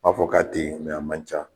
N m'a fɔ k'a tɛ yen , nka a man ca.